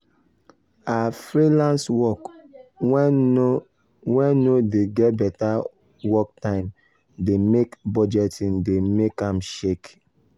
her freelenace work wen no wen no de get better work time de make budgeting de make am shake